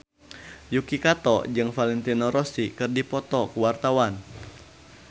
Yuki Kato jeung Valentino Rossi keur dipoto ku wartawan